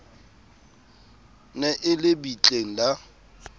ne e le bitleng la